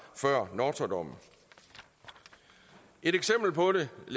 før nortra dommen et eksempel på det